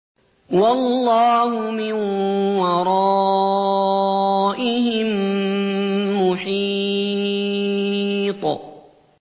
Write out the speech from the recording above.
وَاللَّهُ مِن وَرَائِهِم مُّحِيطٌ